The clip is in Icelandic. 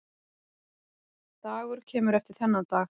Dagur kemur eftir þennan dag.